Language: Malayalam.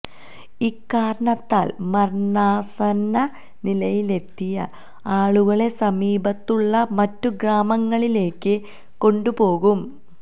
ഇക്കാരണത്താല് മരണാസന്ന നിലയിലെത്തിയ ആളുകളെ സമീപത്തുള്ള മറ്റ് ഗ്രമാങ്ങളിലേക്ക് കൊണ്ടു പോകും